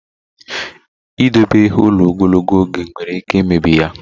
Ịdobe ihe ụlọ ogologo oge nwere ike imebi ya.